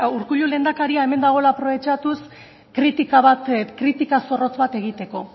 urkullu lehendakaria hemen dagoela aprobetxatuz kritika bat kritika zorrotz bat egiteko